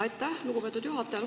Aitäh, lugupeetud juhataja!